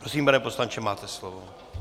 Prosím, pane poslanče, máte slovo.